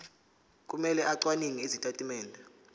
kumele acwaninge izitatimende